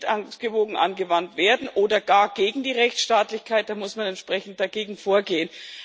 Wenn sie nicht ausgewogen angewandt werden oder gar gegen die Rechtsstaatlichkeit, dann muss man entsprechend dagegen vorgehen.